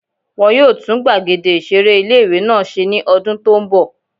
Wọ́n yóò tún gbàgede ìseré ilé-ìwé náà ṣe ní ọdún tó n bọ̀